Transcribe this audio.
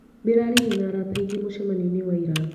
Ndĩraririe na arata aingĩ mũcemanionĩ wa ira.